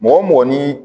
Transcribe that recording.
Mɔgɔ mɔgɔ ni